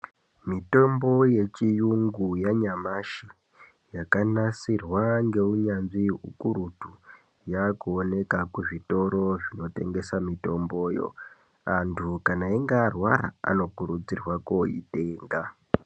Mitombo yechiyungu yanyamashi yakanasirwa ngeunyanzvi ukurutu yakuoneka kuzvitoro zvinotengesa mitomboyo. Antu kana eyinge arwara anokurudzirwa koitenga.